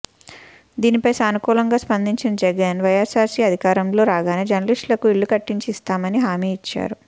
దీనిపై సానుకూలంగా స్పందించిన జగన్ వైఎస్సార్సీ అధికారంలో రాగానే జర్నలిస్టులకు ఇళ్ల కట్టించి ఇస్తామని హామీ ఇచ్చారు